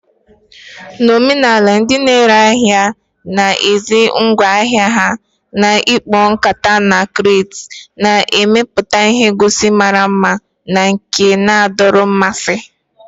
Na omenala, ndị na-ere ahịa na-ahazi ngwa ahịa ha na ikpo, nkata, na crates, na-emepụta ihe ngosi mara mma na nke na-adọrọ mmasị.